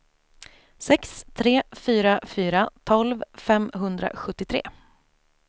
sex tre fyra fyra tolv femhundrasjuttiotre